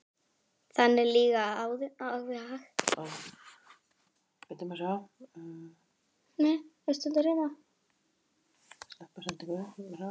Þannig líða árin.